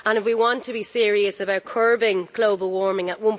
If we want to be serious about curbing global warming at